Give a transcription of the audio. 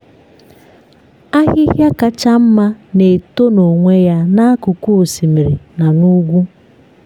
ahịhịa kacha mma na-eto n’onwe ya n’akụkụ osimiri na n’ugwu.